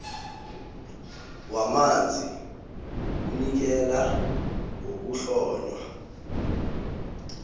wamanzi unikela ngokuhlonywa